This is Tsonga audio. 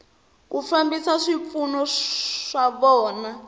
ku fambisa swipfuno swa vona